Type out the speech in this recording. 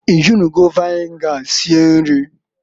I jinugo viniga sie nri?